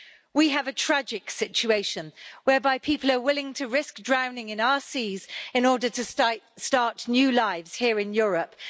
We have a tragic situation whereby people are willing to risk drowning in our seas in order to start new lives here in Europe.